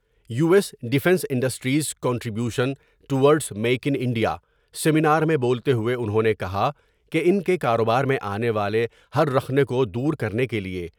you S defence industries contribution towards make in India seminar میں بولتے ہوۓ انہوں نے کہا کہ ان کے کاروبار میں آنے والے ہر رخنہ کو دور کرنے کے لیے